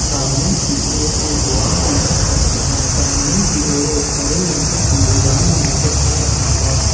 सामने की ओर एक द्वार भी दिख रहा है सामने की ओर एक हरे रंग का कूड़ेदान भी नजर आ रहा है।